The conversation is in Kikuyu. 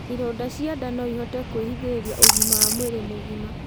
Ironda cia ndaa noĩhote kurehithirĩa ũgima w mwĩrĩ mũgima